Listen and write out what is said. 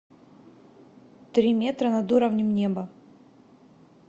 три метра над уровнем неба